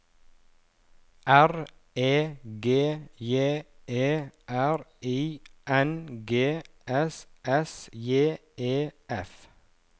R E G J E R I N G S S J E F